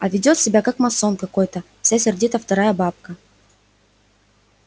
а ведёт себя как масон какой-то всё сердита вторая бабка